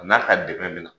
A n'a ka dɛmɛ bɛ na